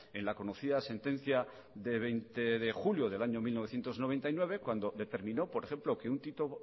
en la conocida sentencia de veinte de julio de mil novecientos noventa y nueve cuando determinó por ejemplo que un